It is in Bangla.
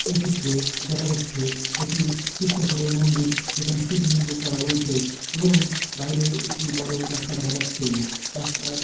এ চিত্রে দেখা যাচ্ছে এটি শিব ঠাকুরের মন্দির যেখানে শিবলিঙ্গ করা রয়েছে এবং বাইরে একটি বড় রাস্তা দেখা যাচ্ছে রাস্ত--